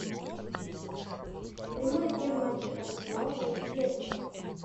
прямой эфир матча арсенал против лестера